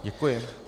Děkuji.